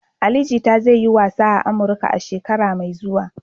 Ali Jita zai yi wasa a Amurka a shekara mai zuwa.